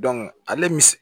ale m